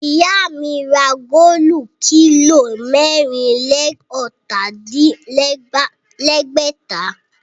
Ìyá mi ra góòlù kílò mẹ́rìn-lé-ọ̀tà-din-lẹ́gbẹ̀ta